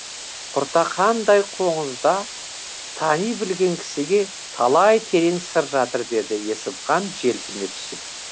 құртақандай қоңызда тани білген кісіге талай терең сыр жатыр деді есімхан желпіне түсіп